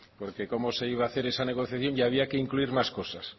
porque como se iba a hacer esa negociación había que incluir más cosas